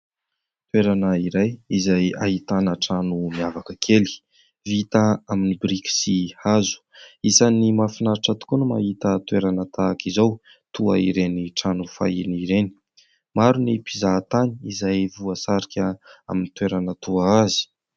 Toerana iray izay ahitana trano miavaka kely. Vita amin'ny biriky sy hazo. Isan'ny mahafinaritra tokoa ny mahita toerana tahaka izao toa ireny trano fahiny ireny. Maro ny mpizaha tany izay voasarika amin'ny toerana toa azy.